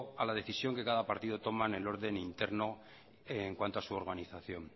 a la decisión que cada partido toma en el orden interno en cuanto a su organización